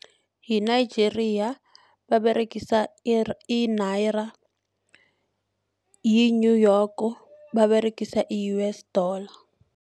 Yi-Nigeria baberegisa i-naira, yi-New York baberegisa U_S dollar.